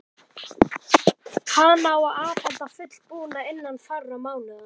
Hana á að afhenda fullbúna innan fárra mánaða.